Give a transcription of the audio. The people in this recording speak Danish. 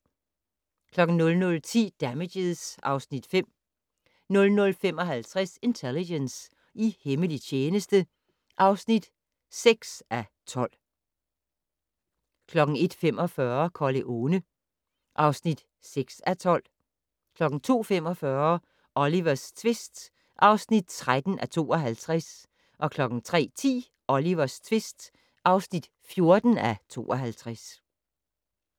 00:10: Damages (Afs. 5) 00:55: Intelligence - i hemmelig tjeneste (6:12) 01:45: Corleone (6:12) 02:45: Olivers tvist (13:52) 03:10: Olivers tvist (14:52)